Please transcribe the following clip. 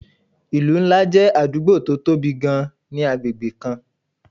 ìlú ńlá jẹ́ àdúgbò tó tóbi gan-an ni agbègbè kan